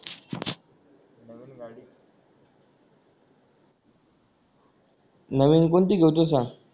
नवीन कोणती घेऊ तू सांग